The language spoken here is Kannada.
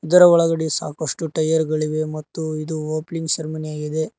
ಇದರ ಒಳಗಡೆ ಸಾಕಷ್ಟು ಟೈಯರ್ ಗಳಿವೆ ಮತ್ತು ಇದು ಓಪನಿಂಗ್ ಸೆರೆಮನಿ ಯಾಗಿದೆ.